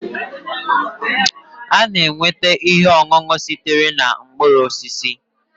A na-enweta ihe ọṅụṅụ sitere na mkpụrụ osisi